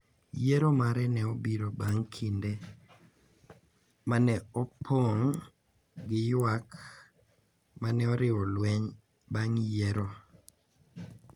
Yiero mare ne obiro bang’ kinde ma ne opong’ gi ywak ma ne oriwo lweny bang’ yiero,